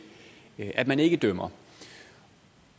at man ikke dømmer